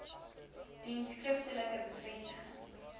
dien skriftelike bevestiging